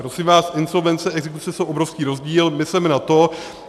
Prosím vás, insolvence a exekuce jsou obrovský rozdíl, mysleme na to.